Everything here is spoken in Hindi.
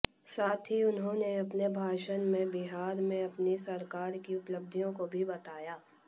साथ ही उन्होंने अपने भाषण में बिहार में अपनी सरकार की उपलब्धियों को भी बताया